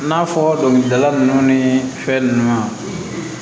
I n'a fɔ dɔnkilidala nunnu ni fɛn nunnu